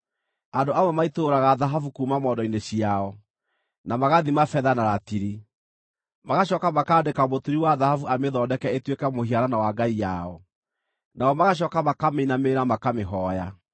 Andũ amwe maitũrũraga thahabu kuuma mondo-inĩ ciao, na magathima betha na ratiri; magacooka makaandĩka mũturi wa thahabu amĩthondeke ĩtuĩke mũhianano wa ngai yao, nao magacooka makamĩinamĩrĩra, makamĩhooya.